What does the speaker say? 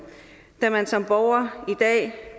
da man som borger